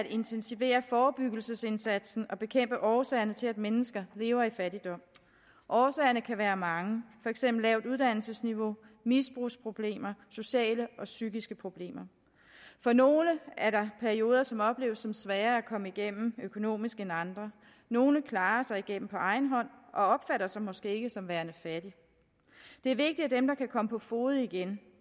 at intensivere forebyggelsesindsatsen og bekæmpe årsagerne til at mennesker lever i fattigdom årsagerne kan være mange for eksempel lavt uddannelsesniveau misbrugsproblemer sociale og psykiske problemer for nogle er der perioder som opleves som sværere at komme igennem økonomisk end andre nogle klarer sig igennem på egen hånd og opfatter sig måske ikke som værende fattige det er vigtigt at dem der kan komme på fode igen